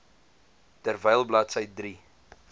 terwyl bladsy drie